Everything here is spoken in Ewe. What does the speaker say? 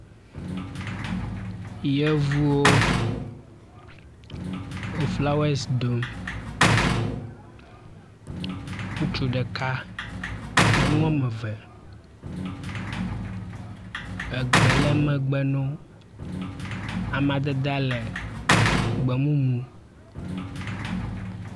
Yevuwo wo flawesi dom. Ŋutsu ɖeka nyɔnu wɔme eve egbe le megbe na wo. Amadedea le gbemumu.